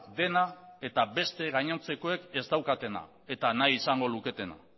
dena eta beste gainontzekoek ez daukatena eta nahi izango luketena